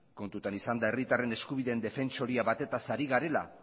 kontutan izanda herritarren eskubideen defentsoria batetaz ari garela